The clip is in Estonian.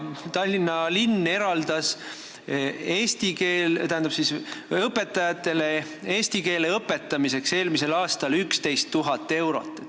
Tallinna linn eraldas eelmisel aastal õpetajatele eesti keele õpetamiseks 11 000 eurot.